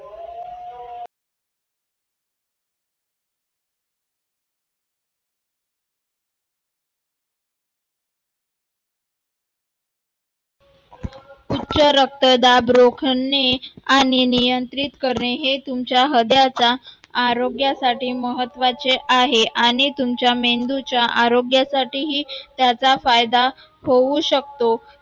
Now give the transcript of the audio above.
उच्च रक्तदाब रोखणे आणि नियंत्रित करणे हे तुमच्या हृदयाचा आरोग्यासाठी महत्वाचे आहे आणि तुमच्या मेंदूच्या आरोग्यासाठीही त्याचा फायदा होऊ शकतो